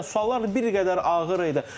Yəni suallar bir qədər ağır idi.